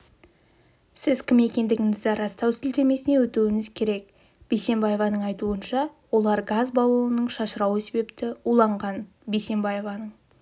сіз кім екендігіңізді растау сілтемесіне өтуіңіз керек бисенбаеваның айтуынша олар газ баллонының шашырауы себепті уланған бисенбаеваның